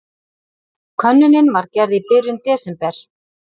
Könnunin var gerð í byrjun desember